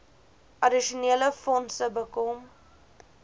addisionele fondse bekom